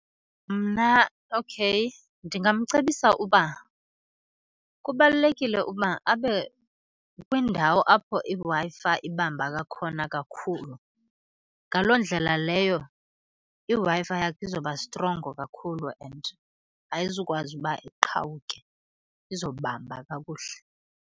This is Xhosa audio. Mna, okay ndingamcebisa uba kubalulekile uba abe kwindawo apho iWi-Fi ibamba kakhona kakhulu. Ngaloo ndlela leyo iWi-Fi yakhe izoba strongo kakhulu and ayizukwazi uba iqhawuke, izobamba kakuhle.